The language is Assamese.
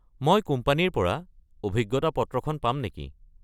মই কোম্পানীৰ পৰা অভিজ্ঞতা পত্ৰখন পাম নেকি?